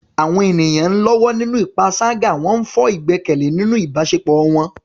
Àwọn ènìyàn ń lọ́wọ́ nínú panṣágà, wọ́n ń fọ́ ìgbẹ́kẹ̀lé nínú ìbáṣepọ̀ wọn.